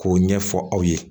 K'o ɲɛfɔ aw ye